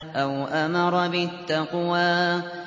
أَوْ أَمَرَ بِالتَّقْوَىٰ